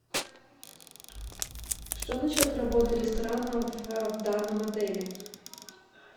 что насчет работы ресторана в данном отеле